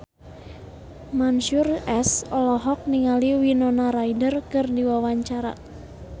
Mansyur S olohok ningali Winona Ryder keur diwawancara